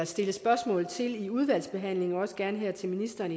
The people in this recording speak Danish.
stille spørgsmål til i udvalgsbehandlingen og også gerne til ministeren